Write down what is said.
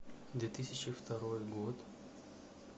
две тысячи второй год